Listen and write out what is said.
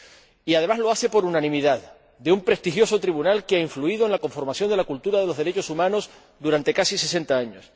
Y, además, lo hace por unanimidad un prestigioso tribunal que ha influido en la conformación de la cultura de los derechos humanos durante casi sesenta años.